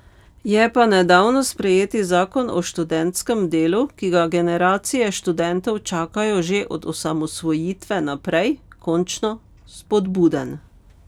Je pa nedavno sprejeti zakon o študentskem delu, ki ga generacije študentov čakajo že od osamosvojitve naprej, končno spodbuden.